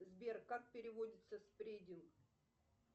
сбер как переводится спрединг